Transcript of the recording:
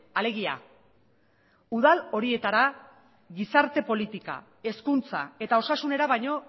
alegia udal horietara gizarte politika hezkuntza eta osasunera baino